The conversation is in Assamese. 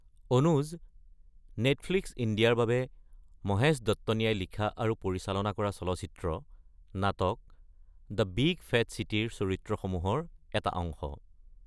অনুজ নেটফ্লিক্স ইণ্ডিয়াৰ বাবে মহেশ দত্তনীয়ে লিখা আৰু পৰিচালনা কৰা চলচ্চিত্ৰ-নাটক দ্য বিগ ফেট চিটী ৰ চৰিত্ৰসমূহৰ এটা অংশ।